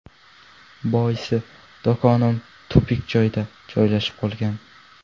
Boisi, do‘konim tupik joyda joylashib qolgan.